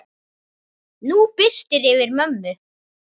Nú birtir yfir mömmu.